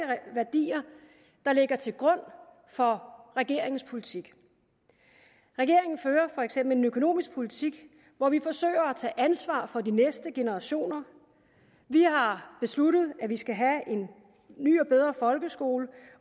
værdier der ligger til grund for regeringens politik regeringen fører for eksempel en økonomisk politik hvor vi forsøger at tage ansvar for de næste generationer vi har besluttet at vi skal have en ny og bedre folkeskole